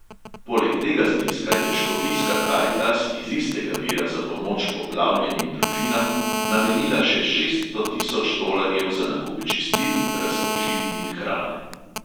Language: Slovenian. Poleg tega zneska je škofijska karitas iz istega vira za pomoč poplavljenim družinam namenila še šeststo tisoč tolarjev za nakup čistil, razkužil in hrane.